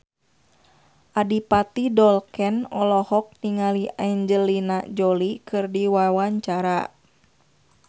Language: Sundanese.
Adipati Dolken olohok ningali Angelina Jolie keur diwawancara